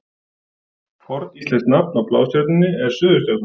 Forníslenskt nafn á Blástjörnunni er Suðurstjarnan.